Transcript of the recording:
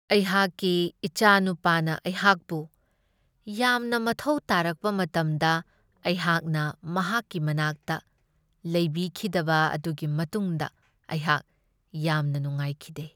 ꯑꯩꯍꯥꯛꯀꯤ ꯏꯆꯥꯅꯨꯄꯥꯅ ꯑꯩꯍꯥꯛꯄꯨ ꯌꯥꯝꯅ ꯃꯊꯧ ꯇꯥꯔꯛꯄ ꯃꯇꯝꯗ ꯑꯩꯍꯥꯛꯅ ꯃꯍꯥꯛꯀꯤ ꯃꯅꯥꯛꯇ ꯂꯩꯕꯤꯈꯤꯗꯕ ꯑꯗꯨꯒꯤ ꯃꯇꯨꯡꯗ ꯑꯩꯍꯥꯛ ꯌꯥꯝꯅ ꯅꯨꯡꯉꯥꯏꯈꯤꯗꯦ ꯫